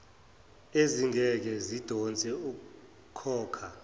ezingeke zidonse ukhokha